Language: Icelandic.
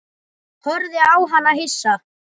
Horfði á hana hissa.